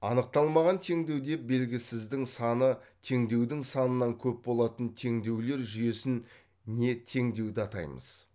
анықталмаған теңдеу деп белгісіздің саны теңдеудің санынан көп болатын теңдеулер жүйесін не теңдеуді атаймыз